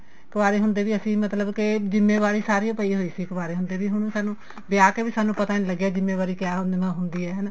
ਕੁਆਰੇ ਹੁੰਦੇ ਵੀ ਅਸੀਂ ਮਤਲਬ ਕੀ ਜਿੰਮੇਵਾਰੀ ਸਾਰੀ ਪਈ ਹੋਈ ਸੀ ਕੁਵਾਰੇ ਹੁੰਦੇ ਦੀ ਹੁਣ ਸਾਨੂੰ ਵਿਆਹ ਕੇ ਵੀ ਸਾਨੂੰ ਪਤਾ ਨੀ ਲੱਗਿਆ ਕਿਆ ਹੁੰਦੀ ਏ ਹਨਾ